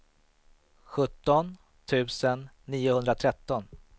sjutton tusen niohundratretton